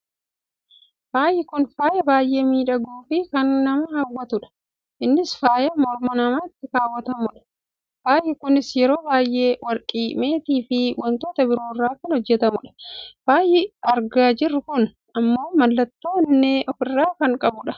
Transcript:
Faayi kun faaya baay'eee miidhaguu fi kan nama hawwatudha. Innis faaya morma namatti kaawwatamudha. Faayi kunis yeroo bay'ee warqii, meetii fi wantoota biraarraa kan hojjatamanidha. Faayi argaa jirru kun ammoo mallattoo onnee ofirraa kan qabudha.